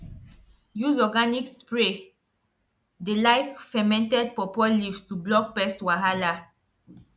use organic spray dey like fermented pawpaw leaves to block pest wahala